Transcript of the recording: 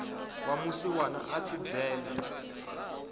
wa musiwana a tshi dzhena